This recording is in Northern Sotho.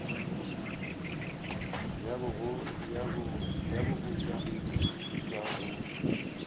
ya bogoja e tšwa go